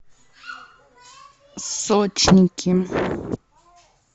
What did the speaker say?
сочники